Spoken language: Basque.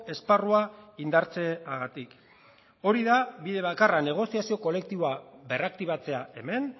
esparrua indartzeagatik hori da bide bakarra negoziazio kolektiboa berraktibatzea hemen